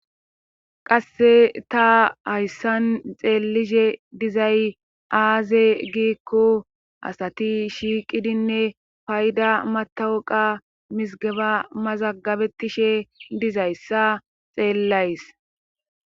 Kasse ta hayssan xeelishe dizay aaze giikko asati shiiqidinne payda matawuqa misgeba mazagabetishe dizayssa xeellays.